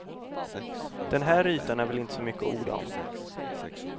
Den här ytan är väl inte så mycket att orda om.